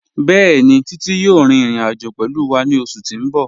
Bẹẹ̀ni, Títí yòò rín ìrìn-àjọ̀ pẹ̀lú wà ní ọṣù tí n bọ̀.